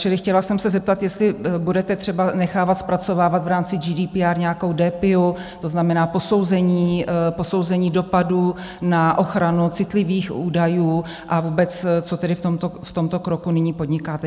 Čili chtěla jsem se zeptat, jestli budete třeba nechávat zpracovávat v rámci GDPR nějakou DPIA, to znamená posouzení dopadů na ochranu citlivých údajů, a vůbec, co tedy v tomto kroku nyní podnikáte.